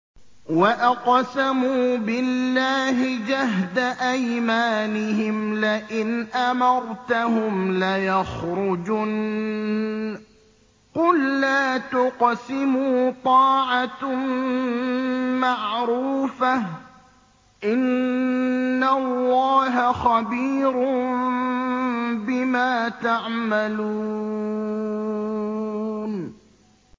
۞ وَأَقْسَمُوا بِاللَّهِ جَهْدَ أَيْمَانِهِمْ لَئِنْ أَمَرْتَهُمْ لَيَخْرُجُنَّ ۖ قُل لَّا تُقْسِمُوا ۖ طَاعَةٌ مَّعْرُوفَةٌ ۚ إِنَّ اللَّهَ خَبِيرٌ بِمَا تَعْمَلُونَ